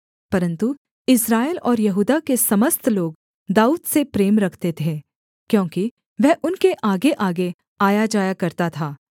परन्तु इस्राएल और यहूदा के समस्त लोग दाऊद से प्रेम रखते थे क्योंकि वह उनके आगेआगे आयाजाया करता था